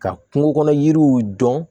Ka kungo kɔnɔ yiriw dɔn